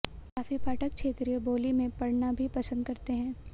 काफी पाठक क्षेत्रीय बोली में पढ़ना भी पसंद करते हैं